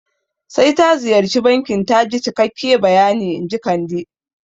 Sai ta ziyarci bankin taji cikakke bayani inji Kande